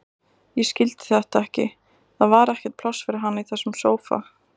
Ég skildi þetta ekki, það var ekkert pláss fyrir hana í þessum sófa.